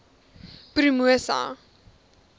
promosa